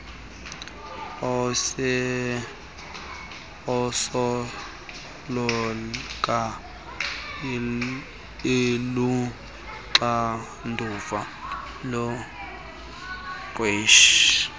esoloko iluxanduva lomqeshi